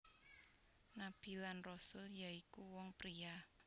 Nabi lan Rasul ya iku wong pria